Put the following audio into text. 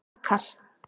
Dakar